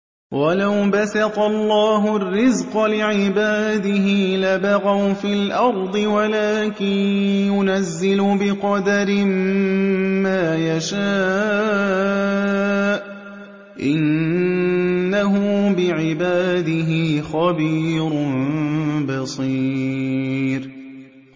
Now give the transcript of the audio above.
۞ وَلَوْ بَسَطَ اللَّهُ الرِّزْقَ لِعِبَادِهِ لَبَغَوْا فِي الْأَرْضِ وَلَٰكِن يُنَزِّلُ بِقَدَرٍ مَّا يَشَاءُ ۚ إِنَّهُ بِعِبَادِهِ خَبِيرٌ بَصِيرٌ